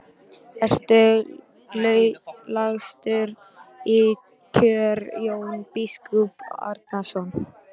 Ertu lagstur í kör Jón biskup Arason?